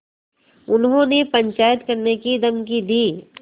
उन्होंने पंचायत करने की धमकी दी